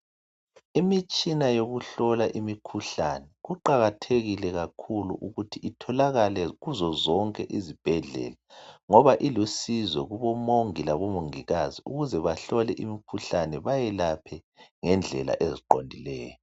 Imitshina yokuhlola imikhuhlane kuqakathekile kakhulu ukuthi itholakale kuzo zonke izibhedlela ngoba ilusizo kubomongi labomongikazi ukuze bahlole imikhuhlane bayelaphe ngendlela eziqondileyo.